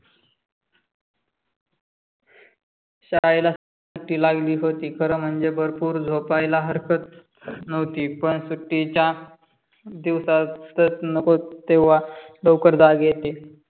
शाळेला सुट्टी लागली होती. खरं म्हणजे भरपूर झोपायला हरकत नव्हती. पण सुट्टीच्या दिवसातच नको तेव्हा लवकर जाग येते.